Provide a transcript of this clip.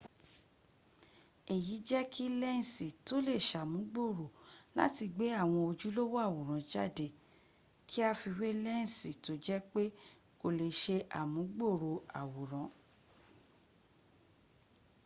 èyí jẹ́ kí lẹ́nsì tó lè ṣàmùgbòrò láti gbé àwọn ojúlówó àwòrán jáde k;i a fi wé lẹ́nsì tó jé pé kò lè ṣe àmúgbòrò àwòrán